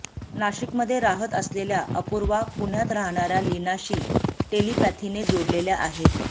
नाशिकमध्ये राहत असलेल्या अपूर्वा पुण्यात राहणार्या लिनाशी टेलिपॅथीने जोडलेल्या आहेत